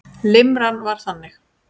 Limran var þannig